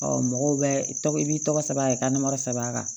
mɔgɔw bɛ tɔgɔ i b'i tɔgɔ sɛbɛn a ka sɛbɛn a kan